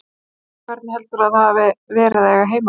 Hrund: Hvernig heldurðu að það hafi verið að eiga heima þarna?